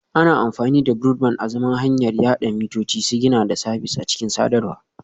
Ana amfani da Broadband azaman hanyar yada mitoci, sigina da sabis a cikin sadarwa